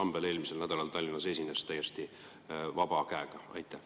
esines eelmisel nädalal Tallinnas täiesti vabalt?